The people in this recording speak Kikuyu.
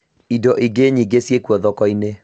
Indo ingĩ nyingĩ ciĩkwo thoko-inĩ